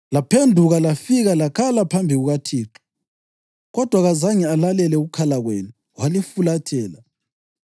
Laphenduka lafika lakhala phambi kukaThixo kodwa kazange alalele ukukhala kwenu walifulathela.